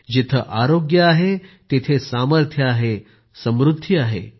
जिथं आरोग्य आहे तिथं सामर्थ्य आहे तिथं समृद्धी आहे